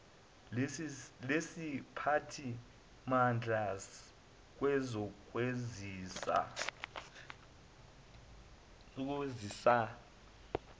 lesiphathi mandla kwezokwazisa